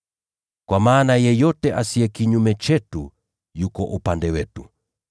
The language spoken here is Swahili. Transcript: Kwa maana yeyote asiye kinyume chetu, yuko upande wetu.